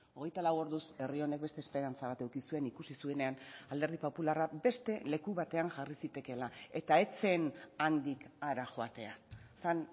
hogeita lau orduz herri honek beste esperantza bat eduki zuen ikusi zuenean alderdi popularra beste leku batean jarri zitekeela eta ez zen handik hara joatea zen